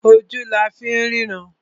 Ojú la fín rínran.